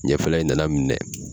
Ɲɛfɛla in na na minɛ.